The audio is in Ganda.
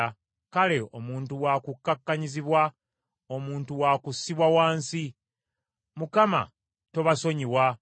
Kale omuntu wa kukkakkanyizibwa, omuntu wa kussibwa wansi. Mukama , tobasonyiwa!